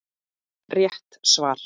Rétt svar!